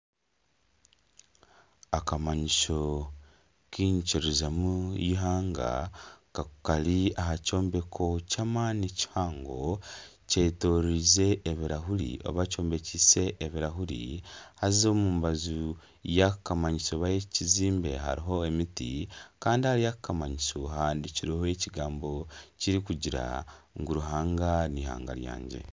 Akamanyiso k'enyikirizamu y'eihanga kari aha kyombeko ky'amaani kihango kyetorize ebirahuri oba kyombekiise ebirahuri haza omu mumbaju yakamanyiso oba ekizimbe hariho emiti kandi ahari aka akamanyiso hahandikireho ebigambo birikugira ngu Ruhanga n'eihanga ryangye.